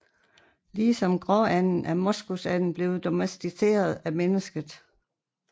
Ligesom gråanden er moskusanden blevet domesticeret af mennesket